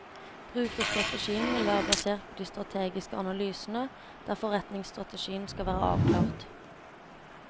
Brukerstrategien vil være basert på de strategiske analysene, der forretningsstrategien skal være avklart.